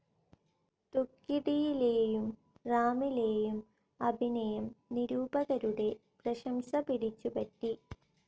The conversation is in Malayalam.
തുക്കിടിയിലെയും റാമിലെയും അഭിനയം നിരൂപകരുടെ പ്രശംസ പിടിച്ചുപറ്റി.